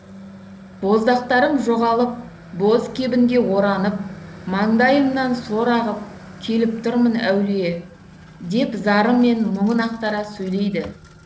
боздақтарым жоғалып боз кебінге оранып маңдайымнан сор ағып келіп тұрмын әулие деп зары мен мұңын ақтара сөйлейді